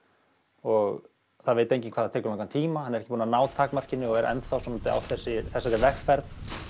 og það veit enginn hvað það tekur langan tíma hann er ekki búinn að ná takmarkinu og er enn á þessari vegferð